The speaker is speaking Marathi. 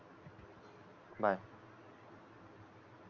बाय